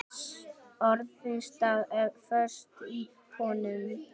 Orðin standa föst í honum.